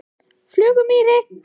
Flugumýri